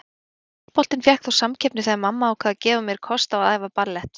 Handboltinn fékk þó samkeppni þegar mamma ákvað að gefa mér kost á að æfa ballett.